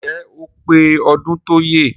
Ǹjẹ́ ó pé ọdún tọ́yẹ?